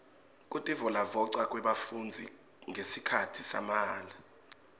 kutivolavoca kwebafundzi ngesikhatsi samahala